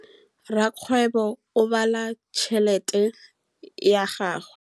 Rakgwêbô o bala tšheletê ya gagwe.